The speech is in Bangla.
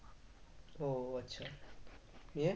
ও আচ্ছা নিয়ে?